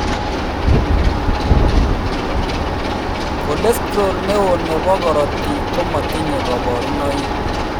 Cholesterol neo nebo korotik komatinye kabarunoik